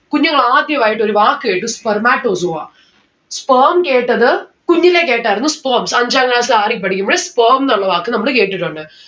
കുഞ്ഞുങ്ങൾ ആദ്യൊ ആയിട്ട് ഒരു വാക്ക് കേട്ടു spermatozoa. sperm കേട്ടത് കുഞ്ഞിലേ കെട്ടായിരുന്നു sperms അഞ്ചാം class ആറിൽ പഠിക്കുമ്പഴെ sperm ന്നുള്ള വാക്ക് നമ്മള് കേട്ടിട്ടുണ്ട്.